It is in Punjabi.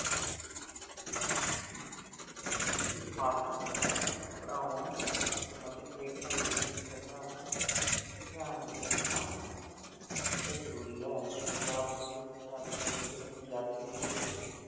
ਇਸ ਪਾਠ-ਪੁਸਤਕ ਨੂੰ ਪੜ੍ਹਾਉਣ ਸੰਬੰਧਿਤ ਹੇਠਾਂ ਦਿੱਤੀਆਂ ਕੁਝ ਗੱਲਾਂ ਨੂੰ ਧਿਆਨ ਵਿੱਚ ਰੱਖਣਾ ਬਹੁਤ ਜ਼ਰੂਰੀ ਹੈ ਪੰਜਾਬ school ਸਿੱਖਿਆ board ਦੇ ਪੰਜਾਬੀ ਵਿਸ਼ੇ ਦੇ